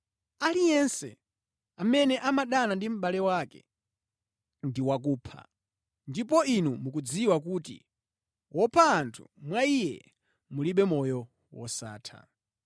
Aliyense amene amadana ndi mʼbale wake ndi wakupha, ndipo inu mukudziwa kuti wopha anthu mwa iye mulibe moyo wosatha.